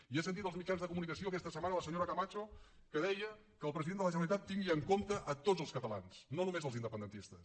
i he sentit als mitjans de comunicació aquesta setmana la senyora camacho que deia que el president de la generalitat tingui en compte tots els catalans no només els independentistes